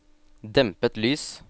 dempet lys